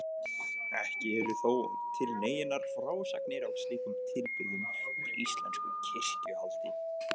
Ekki eru þó til neinar frásagnir af slíkum tilburðum úr íslensku kirkjuhaldi.